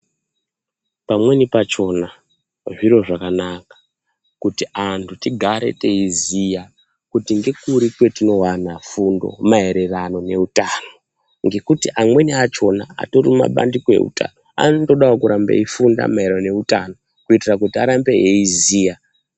Pamweni pachona zviro zvakanaka kuti antu tigare tei ziya kuti ngekuri kwatino wana fundo maererano ne utano ngekuti amweni achona atori ma bandiko eutano ano todawo kurambe eyi funda maererano ne utano ku itira kuti arambe eyi ziya.